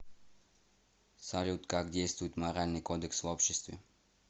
салют как действует моральный кодекс в обществе